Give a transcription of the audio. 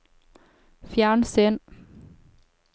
fjernsyn